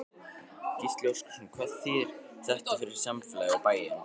Gísli Óskarsson: Hvað þýðir þetta fyrir samfélagið, og bæinn?